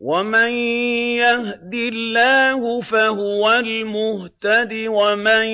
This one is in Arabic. وَمَن يَهْدِ اللَّهُ فَهُوَ الْمُهْتَدِ ۖ وَمَن